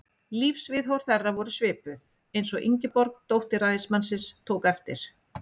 Lífsviðhorf þeirra voru svipuð, eins og Ingeborg, dóttir ræðismannsins, tók eftir.